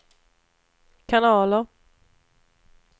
kanaler